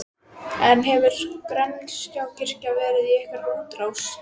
En hefur Grensáskirkja verið í einhverri útrás?